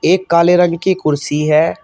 एक काले रंग की कुर्सी है।